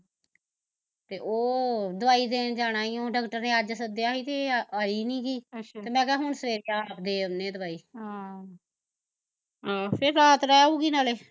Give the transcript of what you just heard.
ਤੇ ਓਹ ਦਵਾਈ ਦੇਣ ਜਾਣਾ ਈ ਓ ਡਾਕਟਰ ਨੇ ਅੱਜ ਸੱਦਿਆ ਸੀ ਤੇ ਆਈ ਨੀ ਗੀ ਤੇ ਮੈਂ ਕਿਹਾ ਹੁਣ ਸਵੇਰੇ ਆਪ ਦੇ ਆਉਂਦੇ ਆ ਦਵਾਈ ਹਮ ਫਿਰ ਰਾਤ ਰਹਿ ਆਊਗੀ ਨਾਲੈ